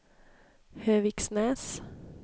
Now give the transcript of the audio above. Höviksnäs